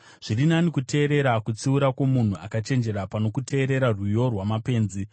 Zviri nani kuteerera kutsiura kwomunhu akachenjera, pano kuteerera rwiyo rwamapenzi.